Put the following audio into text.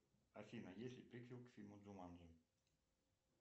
афина есть ли приквел к фильму джуманджи